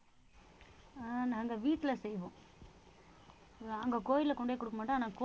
அஹ் நாங்க வீட்டுல செய்வோம் அங்க கோயில்ல கொண்டு போய் குடுக்க மாட்டோம் ஆனா